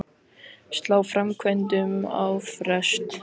Slá framkvæmdum á frest